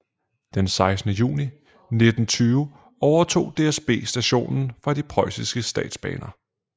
Den 16 juni 1920 overtog DSB stationen fra de Preussiske statsbaner